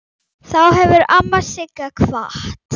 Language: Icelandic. Þá hefur amma Sigga kvatt.